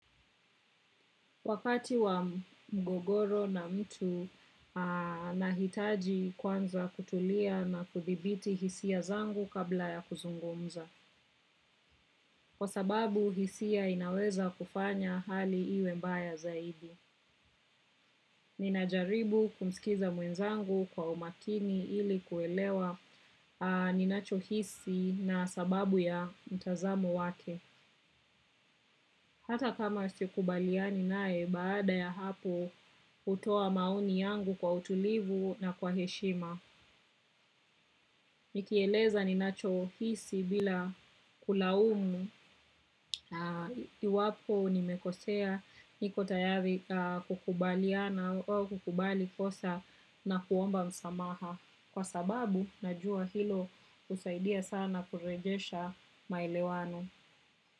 Wakati wa mgogoro na mtu nahitaji kwanza kutulia na kudhibiti hisia zangu kabla ya kuzungumza. Kwa sababu hisia inaweza kufanya hali iwe mbaya zaidi. Ninajaribu kumsilikiza mwenzangu kwa umakini ili kuelewa ninacho hisi na sababu ya mtazamo wake. Hata kama sikubaliani nae, baada ya hapo hutoa maoni yangu kwa utulivu na kwa heshima. Nikieleza ninacho hisi bila kulaumu, na iwapo nimekosea, niko tayari kukubaliana au kukubali kosa na kuomba msamaha. Kwa sababu, najua hilo husaidia sana kurejesha malewano.